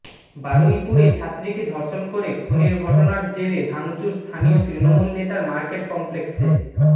বারুইপুরে ছাত্রীকে ধর্ষণ করে খুনের ঘটনার জেরে ভাঙচুর স্থানীয় তৃণমূল নেতার মার্কেট কমপ্লেক্সে